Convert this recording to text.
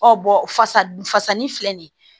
Ɔ fasa dun fasani filɛ nin ye